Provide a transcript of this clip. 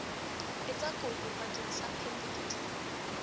etsa kopo bakeng sa phemiti